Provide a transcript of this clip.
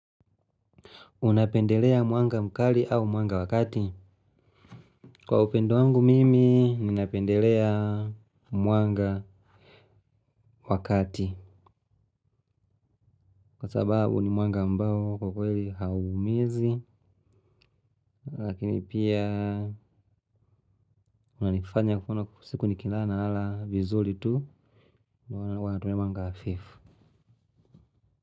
Unapendelea mwanga mkali au mwanga wa kati kwa upendo wangu mimi ninapendelea mwanga wa kati kwa sababu ni mwanga ambao kwa kweli hauumizi. Lakini pia unanifanya mfano siku nikilala nalala vizuri tu maana huwa natumia mwanga hafifu.